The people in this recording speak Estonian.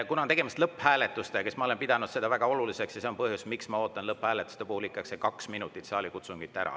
Kui tegemist on lõpphääletusega, siis ma olen pidanud väga oluliseks, et ma ootan ikka selle kaks minutit saalikutsungit ära.